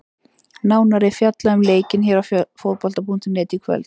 Nánar er fjallað um leikinn hér á Fótbolta.net í kvöld.